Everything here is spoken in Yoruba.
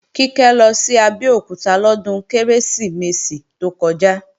Kíkẹ́ lọ sí Abẹ́òkúta lọ́dún Kérésìmesì tó kọjá